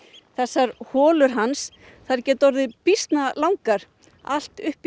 þessar holur hans geta orðið býsna langar allt upp